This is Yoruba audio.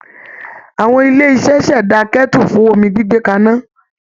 Awọn ilé iṣẹ́ ṣẹ̀dá kẹ́tù fún omi gbígbé kaná